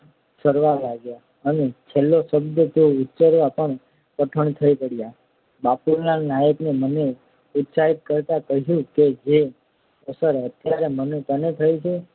સરવા લાગ્યાં અને છેલ્લા શબ્દો તો ઉચ્ચારવા પણ કઠણ થઈ પડ્યા બાપુલાલ નાયકે મને ઉત્સાહિત કરતાં કહ્યું કે જે અસર અત્યારે તને થઈ છે